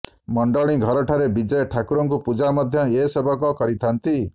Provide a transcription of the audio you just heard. ମଣ୍ଡଣି ଘରଠାରେ ବିଜେ ଠାକୁରଙ୍କୁ ପୂଜା ମଧ୍ୟ ଏ ସେବକ କରିଥାନ୍ତି